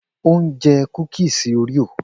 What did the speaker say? O n je kukisi oreo.